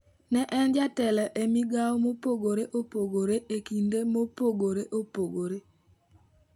Ne en jatelo emigao mopogore opogore e kinde mopogore opogore.